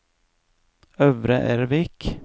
Øvre Ervik